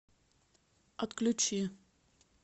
отключи